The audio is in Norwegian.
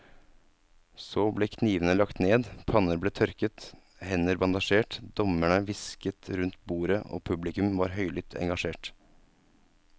Så ble knivene lagt ned, panner ble tørket, hender bandasjert, dommerne hvisket rundt bordet og publikum var høylytt engasjert.